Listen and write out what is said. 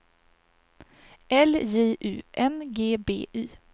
L J U N G B Y